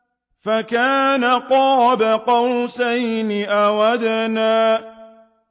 فَكَانَ قَابَ قَوْسَيْنِ أَوْ أَدْنَىٰ